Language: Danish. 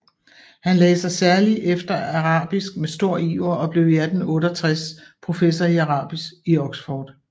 Han lagde sig særlig efter arabisk med stor iver og blev 1868 professor i arabisk i Oxford